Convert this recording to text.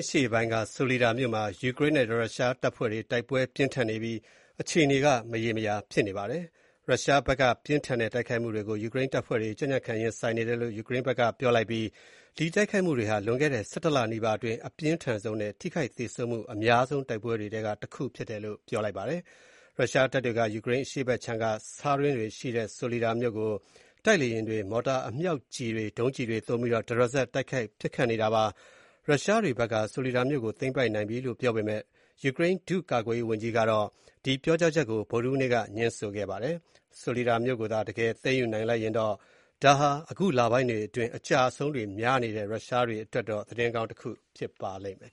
အရှေ့ပိုင်းက ဆိုလီဒါ (Soledar) မြို့မှာ ယူကရိန်းနဲ့ ရုရှားတပ်ဖွဲ့တွေ တိုက်ပွဲတွေအပြင်းအထန် ဖြစ်ပွားနေပြီး မြို့ရဲ့ အခြေအနေက မရေမရာနဲ့ စိုးရိမ်ရတဲ့ အနေအထားမှာရှိနေပါတယ်။ ရုရှားဘက်က ပြင်းထန်တဲ့ တိုက်ခိုက်မှုတွေကို ယူကရိန်းတပ်ဖွဲ့တွေ ကြံ့ကြံ့ခံ ရင်ဆိုင်နေတယ်လို့ ယူကရိန်းဘက်က ပြောလိုက်ပြီး၊ ဒီတိုက်ခိုက်မှုတွေဟာ လွန်ခဲ့တဲ့ ၁၁ လနီးပါအတွင်း အပြင်းထန်ဆုံးနဲ့ ထိခိုက်သေဆုံးမှု အများဆုံး တိုက်ပွဲတွေထဲက တစ်ခုဖြစ်တယ်လို့ ပြောပါတယ်။ ရုရှားတပ်တွေက ယူကရိန်းအရှေ့ခြမ်းက ဆားတွင်းတွေရှိတဲ့ ဆိုလီဒါမြို့ကို တိုက်လေယာဉ်တွေ၊ မော်တာအမြောက်ကျည်တွေ၊ ဒုံးကျည်တွေ သုံးပြီးတော့ တရစပ် တိုက်ခိုက်နေတာဖြစ်ပါတယ်။ ရုရှားတွေဘက်က ဆိုလီဒါမြို့ကို သိမ်းပိုက်နိုင်လိုက်ပြီလို့ ပြောပေမယ့်၊ ယူကရိန်း ဒုတိယကာကွယ်ရေးဝန်ကြီးကတော့ ဒီပြောကြားချက်ကို ဗုဒ္ဓဟူးနေ့က ငြင်းဆိုခဲ့ပါတယ်။ ဆိုလီဒါမြို့ကိုသာ တကယ်သိမ်းယူနိုင်လိုက်တယ်ဆိုရင်တော့ ဒါဟာ အခုလပိုင်းတွေအတွင်း အကျအရှုံးတွေများနေတဲ့ ရုရှားတွေအတွက်တော့ သတင်းကောင်း တခုဖြစ်ပါလိမ့်မယ်